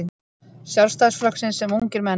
Sjálfstæðisflokksins sem ungir menn.